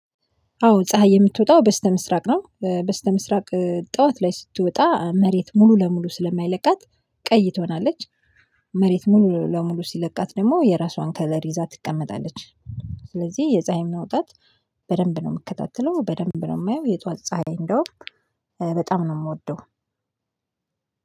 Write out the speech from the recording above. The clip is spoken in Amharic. አዎ ፀሀይ የምትወጣው በስተምስራቅ ነው። በስተምስራቅ ጠዋት ላይ ስትወጣ መሬት ሙሉ ለሙሉ ስለማይለቃት ቀይ ትሆናለች። መሬት ሙሉ ለሙሉ ሲለቃት ደግሞ የራሷን ከለር ይዛ ትቀመጣለች። ስለዚህ የፀሀይ መውጣት በደንብ ነው የምከታተለው በደንብ ነው የማየው የጧት ፀሀይ እንደውም በጣም ነው የምወደው።